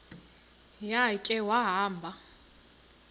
ya khe wahamba